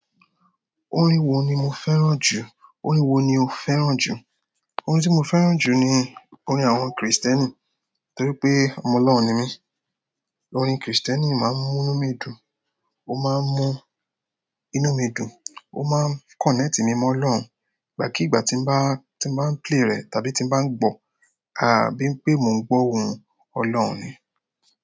Orin wo ni mo fẹ́ràn jù? Orin wo ni o fẹ́ràn jù? Orin tí mo fẹ́ràn jù ni orin àwọn Kristẹni, torí pé ọmọ Ọlọ́run ni mí. Orin Kristẹni máa ń mú inú mi dùn, ó máa ń mú inú mi dùn, ó máa ń connect mi mọ́ Ọlọ́run. Ìgbà kí ìgbà tí n bá, tí n bá play rẹ̀ tàbí tí n bá gbọ́, bí i pé mò ń gbọ́ ohùn Ọlọ́run ni.